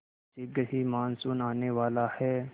शीघ्र ही मानसून आने वाला है